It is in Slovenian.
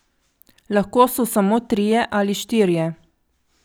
Lahko so samo trije ali štirje.